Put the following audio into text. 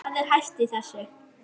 Hvað er hæft í þessu?